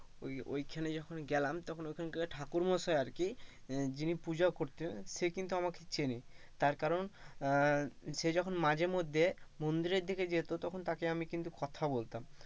ঐ ওই খানে যখন গেলাম তখন ঐখান কার ঠাকুর মশাই আর কি যিনি পূজা করতেন সে কিন্তু আমাকে চেনে তার কারণ আহ সে যখন মাঝে মধ্যে, মন্দিরের দিকে যেত তখন তাকে আমি কিন্তু কথা বলতাম।